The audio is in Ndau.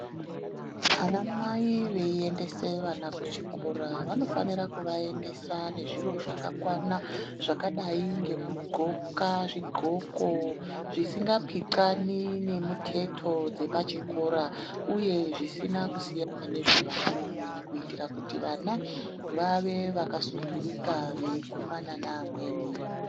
Ana mai veiendese vana kuchikora vanofanira kuvaendesa nezviro zvakakwana zvakadai ngekudxoka zvidxoko zvisingapithani nemiteto dzepachikoro uye zvisina kusiyana nezve vamweni kuitira kuti vana vave vakasunturuka veikumana nevamweni.